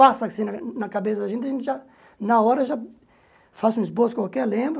Passa assim na na cabeça da gente, a gente já, na hora já faz um esboço qualquer, lembra?